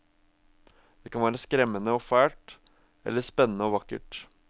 Det kan være skremmende og fælt, eller spennende og vakkert.